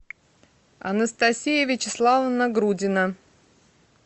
анастасия вячеславовна грудина